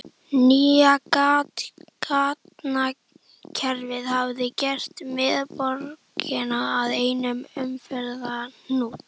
Nýja gatnakerfið hafði gert miðborgina að einum umferðarhnút.